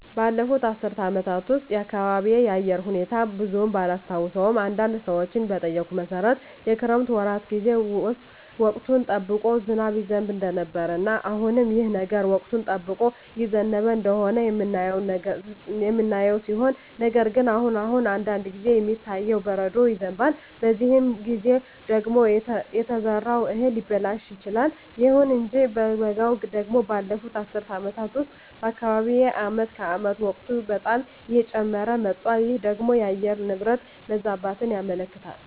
ባለፉት አስር አመታት ውስጥ የአካባቢየ የአየር ሁኔታ ብዙም ባላስታውሰውም አንዳንድ ሰዎችን በጠየኩት መሠረት የክረምት ወራት ጌዜ ውስጥ ወቅቱን ጠብቆ ዝናብ ይዘንብ እንደነበረ እና አሁንም ይህ ነገር ወቅቱን ጠብቆ እየዘነበ እንደሆነ የምናየው ሲሆን ነገር ግን አሁን አሁን አንዳንድ ጊዜ የሚታየው በረዶ ይዘንባል በዚህ ጊዜ ደግሞ የተዘራው እህል ሊበላሽ ይችላል። ይሁን እንጂ በበጋው ደግሞ ባለፋት አስር አመታት ውስጥ በአካባቢየ አመት ከአመት ሙቀቱ በጣም እየጨመረ መጧል ይህ ደግሞ የአየር ንብረት መዛባትን ያመለክታል